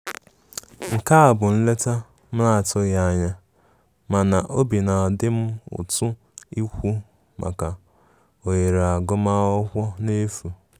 Nke a bụ nleta m na-atụghi anya mana obi na adi m ụtụ ịkwụ maka ohere agụ ma akwụkwo n'efu